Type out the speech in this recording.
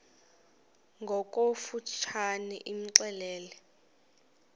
ngokofu tshane imxelele